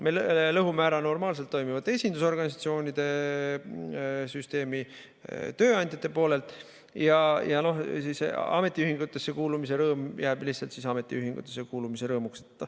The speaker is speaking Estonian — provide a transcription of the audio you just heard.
Me lõhume ära normaalselt toimivate esindusorganisatsioonide süsteemi tööandjate poolelt ja ametiühingusse kuulumise rõõm jääb lihtsalt ametiühingusse kuulumise rõõmuks.